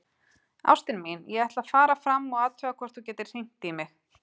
Ástin mín, ég ætla að fara fram og athuga hvort þú getir hringt í mig.